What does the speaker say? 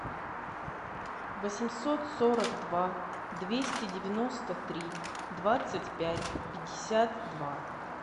восемьсот сорок два двести девяносто три двадцать пять пятьдесят два